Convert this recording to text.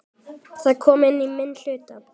Það kom í minn hlut.